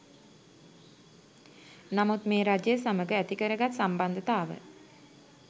නමුත් මේ රජය සමග ඇතිකරගත් සම්බන්ධතාව